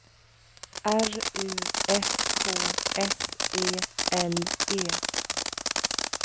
R U S K S E L E